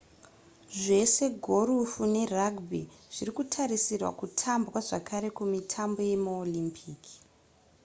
zvese gorofu nerugby zvirikutarisirwa kutambwa zvakare kumitambo yemaolympic